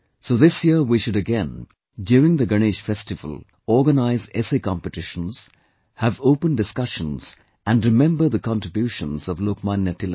So this year we should again, during the Ganesh festival, organise essay competitions, have open discussions and remember the contributions of Lokmanya Tilak